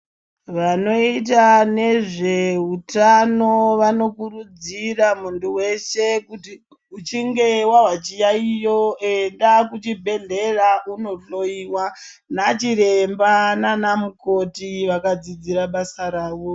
Vanoita nezveutano vanokurudzira muntu weshe kuti uchinge wazwa chiyaiyo enda kuchibhedhlera undohloyiwa ndiana mukoti kana anachiremba akafundira basa rawo.